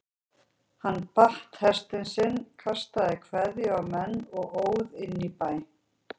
Hann batt hest sinn, kastaði kveðju á menn og óð inn í bæ.